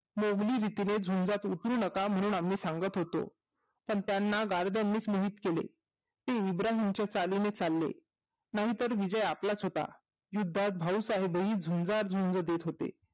मोगलीरीतीने झुजांत उतरू नका म्हणून आम्ही सांगत होतो पण त्यांना गर्दमानीच निमित्त केले ते इब्राहिमच्या चालिमी चालले नाही तर विजय आपलाच होता युद्धात भाऊसाहेब हि झुजांत झूज देत होते